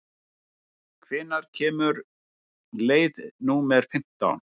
Jóvin, hvenær kemur leið númer fimmtán?